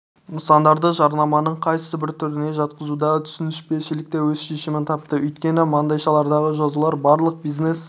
нысандардарды жарнаманың қайсыбір түріне жатқызудағы түсініспеушілік те өз шешімін тапты өйткені маңдайшалардағы жазулар барлық бизнес